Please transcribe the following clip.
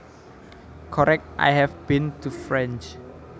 Correct I have been to France